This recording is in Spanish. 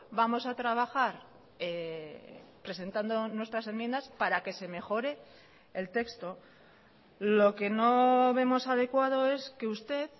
vamos a trabajar presentando nuestras enmiendas para que se mejore el texto lo que no vemos adecuado es que usted